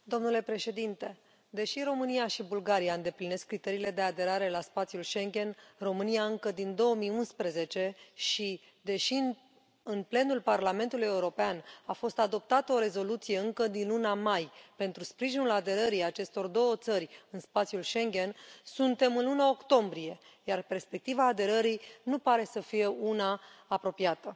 Domnule președinte, deși România și Bulgaria îndeplinesc criteriile de aderare la spațiul Schengen România încă din 2011 și, deși în plenul Parlamentului European a fost adoptată o rezoluție încă din luna mai pentru sprijinul aderării acestor două țări în spațiul Schengen, suntem în luna octombrie, iar perspectiva aderării nu pare să fie una apropiată.